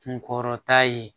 Kunkɔrɔ ta ye